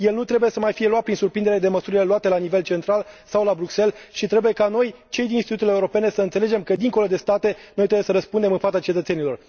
El nu trebuie să mai fie luat prin surprindere de măsurile luate la nivel central sau la Bruxelles și trebuie ca noi, cei din instituțiile europene, să înțelegem că, dincolo de state, noi trebuie să răspundem în fața cetățenilor.